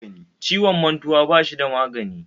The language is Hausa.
Ciwon mantuwa bashi da magani